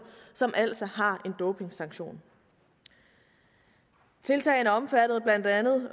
som altså har en dopingsanktion tiltagene omfattede blandt andet